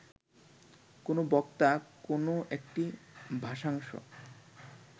কোনো বক্তা কো্নো একটি ভাষাংশ